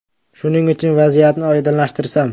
Shuning uchun, vaziyatni oydinlashtirsam.